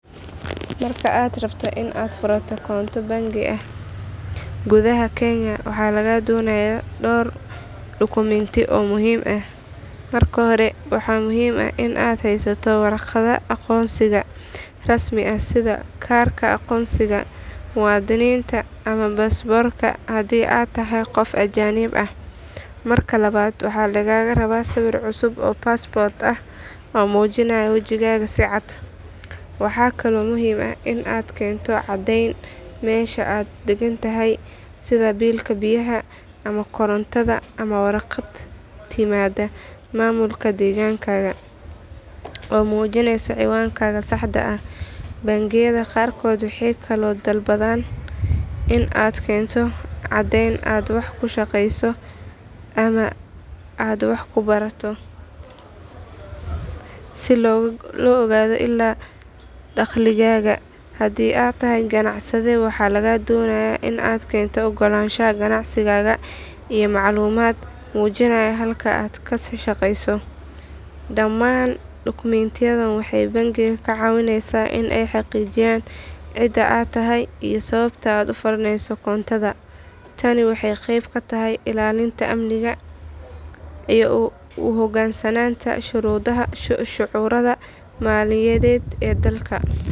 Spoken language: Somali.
Marka aad rabto in aad furato koonto bangi gudaha kenya waxaa lagaa doonayaa dhowr dukumiinti oo muhiim ah. Marka hore waxaa muhiim ah in aad haysato warqadda aqoonsiga rasmi ah sida kaarka aqoonsiga muwaadinka ama baasaboorka haddii aad tahay qof ajnabi ah. Marka labaad waxaa lagaa rabaa sawir cusub oo paspoort ah oo muujinaya wajigaaga si cad. Waxaa kaloo muhiim ah in aad keento caddeyn meesha aad degan tahay sida biilka biyaha ama korontada ama warqad timaada maamulka deegaankaaga oo muujinaysa ciwaankaaga saxda ah. Bangiyada qaarkood waxay kaloo dalbadaan in aad keento caddeyn aad wax ku shaqeyso ama aad wax ku barato, si loo ogaado ilaha dakhligaaga. Haddii aad tahay ganacsade waxaa lagaa doonayaa in aad keento oggolaanshaha ganacsigaaga iyo macluumaad muujinaya halka aad ka shaqeyso. Dhammaan dukumiintiyadan waxay bangiga ka caawinayaan in ay xaqiijiyaan cidda aad tahay iyo sababta aad u furaneyso koontada. Tani waxay qeyb ka tahay ilaalinta amniga iyo u hoggaansanaanta shuruucda maaliyadeed ee dalka.